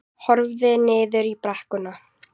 Horfði niður í brekkuna.